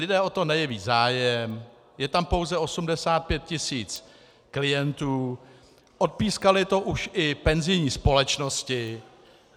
Lidé o to nejeví zájem, je tam pouze 85 tisíc klientů, odpískaly to už i penzijní společnosti.